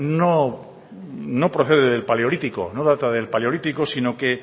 no procede del paleolítico no data del paleolítico sino que